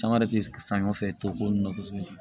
Caman yɛrɛ ti sanɲɔ fɛ to ko nunnu na kosɛbɛ